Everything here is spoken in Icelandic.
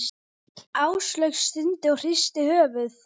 Áslaug stundi og hristi höfuðið.